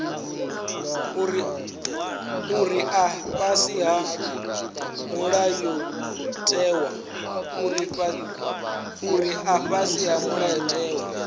uri a fhasi ha mulayotewa